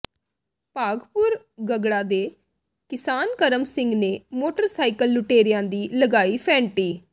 ਭਾਗਪੁਰ ਗਗੜਾ ਦੇ ਕਿਸਾਨ ਕਰਮ ਸਿੰਘ ਨੇ ਮੋਟਰਸਾਈਕਲ ਲੁਟੇਰਿਆਂ ਦੀ ਲਗਾਈ ਫ਼ੈਂਟੀ